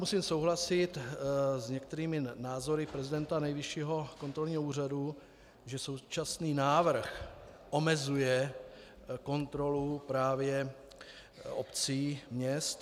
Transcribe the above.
Musím souhlasit s některými názory prezidenta Nejvyššího kontrolního úřadu, že současný návrh omezuje kontrolu právě obcí, měst.